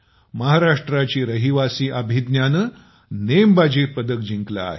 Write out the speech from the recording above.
महाराष्ट्राची रहिवासी अभिज्ञानं नेमबाजीत पदक जिंकलं आहे